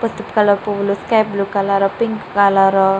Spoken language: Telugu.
పసుపు పువ్వులు sky blue colour pink colour --